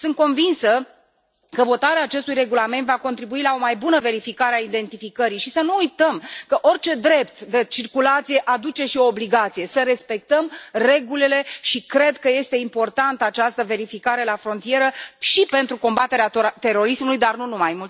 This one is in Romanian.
Sunt convinsă că votarea acestui regulament va contribui la o mai bună verificare a identificării și să nu uităm că orice drept de circulație aduce și o obligație să respectăm regulile, și cred că este importantă această verificare la frontieră și pentru combaterea terorismului, dar nu numai.